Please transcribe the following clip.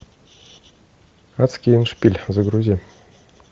адский эндшпиль загрузи